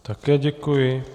Také děkuji.